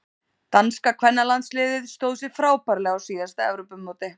Danska kvennalandsliðið stóð sig frábærlega á síðasta Evrópumóti.